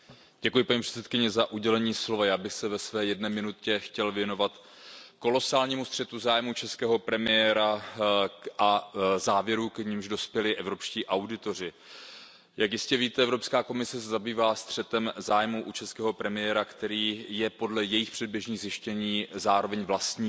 Paní předsedající, já bych se ve své jedné minutě chtěl věnovat kolosálnímu střetu zájmů českého premiéra a závěrům, k nimž dospěli evropští auditoři. Jak jistě víte, Evropská komise se zabývá střetem zájmů u českého premiéra, který je podle jejich předběžných zjištění zároveň vlastníkem